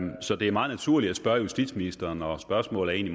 så det er meget naturligt at spørge justitsministeren og spørgsmålet er